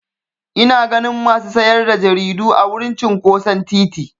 Ina ganin masu sayar da jaridu a wurin cinƙoson titi.